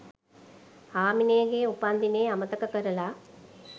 හාමිනේගෙ උපන්දිනේ අමතක කරලා